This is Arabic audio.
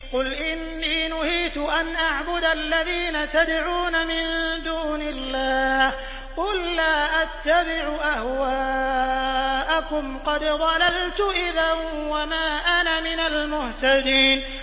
قُلْ إِنِّي نُهِيتُ أَنْ أَعْبُدَ الَّذِينَ تَدْعُونَ مِن دُونِ اللَّهِ ۚ قُل لَّا أَتَّبِعُ أَهْوَاءَكُمْ ۙ قَدْ ضَلَلْتُ إِذًا وَمَا أَنَا مِنَ الْمُهْتَدِينَ